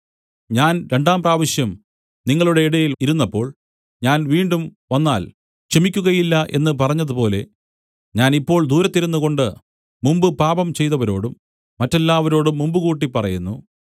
ഞാൻ രണ്ടാം പ്രാവശ്യം നിങ്ങളുടെ ഇടയിൽ ഇരുന്നപ്പോൾ ഞാൻ വീണ്ടും വന്നാൽ ക്ഷമിക്കുകയില്ല എന്ന് പറഞ്ഞതുപോലെ ഞാൻ ഇപ്പോൾ ദൂരത്തിരുന്നുകൊണ്ട് മുമ്പു പാപം ചെയ്തവരോടും മറ്റെല്ലാവരോടും മുൻകൂട്ടി പറയുന്നു